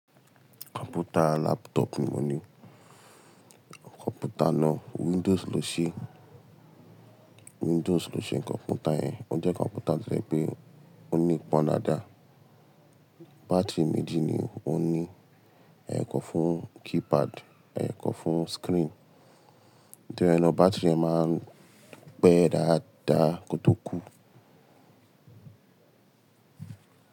Kọ̀mpútà laptop ni mo ní. Kọ̀mpútà náà Windows ló ṣe, Windows ló ṣe kọ̀mpútà yẹn. O jẹ́ kọ̀mpútà tí ẹ pé ó ní pọ́n daadáa. Bá́tìri méjì ni ó ní, ẹyokan fún keypad, ẹyokan fún screen. Tori e nàá bá́tìri yẹn máa ń pé dáadáa kó tó kú.